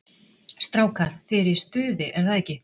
Strákar, þið eruð í stuði er það ekki?